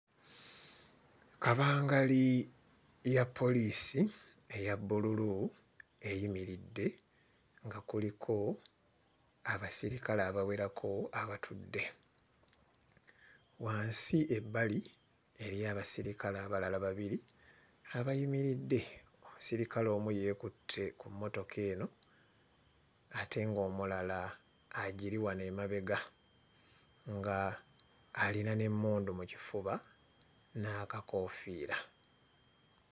Kabangali ya poliisi eya bbululu eyimiridde nga kuliko abasirikale abawerako abatudde. Wansi ebbali eriyo abasirikale abalala babiri abayimiridde; omusirikale omu yeekutte ku mmotoka eno ate ng'omulala agiri wano emabega ng'alina n'emmundu mu kifuba n'akakoofiira.